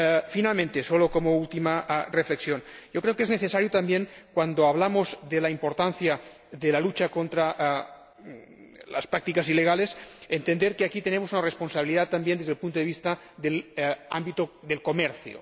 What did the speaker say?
Finalmente, como última reflexión yo creo que es necesario asimismo, cuando hablamos de la importancia de la lucha contra las prácticas ilegales, entender que aquí tenemos una responsabilidad también desde el punto de vista del ámbito del comercio.